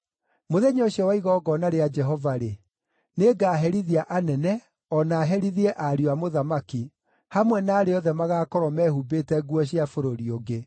Mũthenya ũcio wa igongona rĩa Jehova-rĩ, nĩngaherithia anene, o na herithie ariũ a mũthamaki, hamwe na arĩa othe magaakorwo mehumbĩte nguo cia bũrũri ũngĩ.